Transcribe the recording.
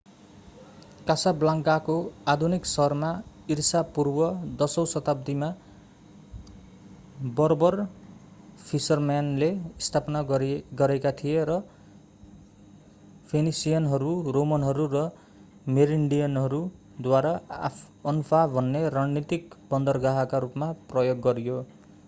कासाब्लान्काको आधुनिक सहर ईसापूर्व 10 औँ शताब्दीमा बर्बर फिसरम्यानले स्थापित गरेका थिए र फोनिसियनहरू रोमनहरू र मेरिनिडहरूद्वारा अनफा भन्ने रणनीतिक बन्दरगाहका रूपमा प्रयोग गरियो